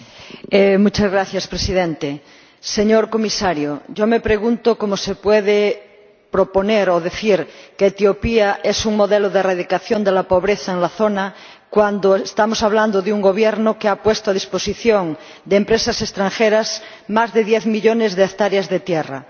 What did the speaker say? Señor Presidente, señor Comisario, yo me pregunto cómo se puede proponer o decir que Etiopía es un modelo de erradicación de la pobreza en la zona, cuando estamos hablando de un Gobierno que ha puesto a disposición de empresas extranjeras más de diez millones de hectáreas de tierra,